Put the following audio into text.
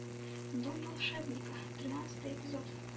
дом волшебника тринадцатый эпизод